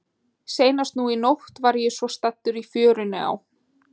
Seinast nú í nótt var ég svo staddur í fjörunni á